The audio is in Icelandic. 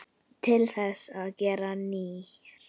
Til þess að gera nýir.